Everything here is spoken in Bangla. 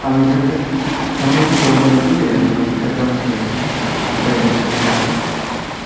আমি তো একটা, আমি তো একটা company তে আপনার accounts এ আছি, private company তে.